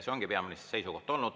See ongi peaministri seisukoht olnud.